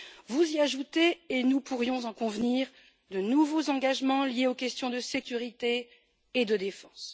Vous y ajoutez et nous pourrions en convenir de nouveaux engagements liés aux questions de sécurité et de défense.